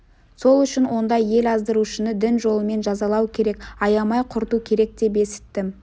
сол үшін ондай ел аздырушыны дін жолымен жазалау керек аямай құрту керек деп есіттім